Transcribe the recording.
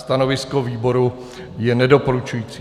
Stanovisko výboru je nedoporučující.